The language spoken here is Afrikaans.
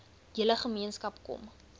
hele gemeenskap kom